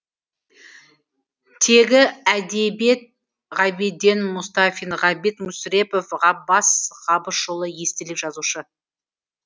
тегі әдебиет ғабиден мұстафин ғабит мүсірепов ғаббас қабышұлы естелік жазушы